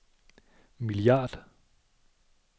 milliard